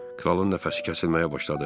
Kralın nəfəsi kəsilməyə başladı.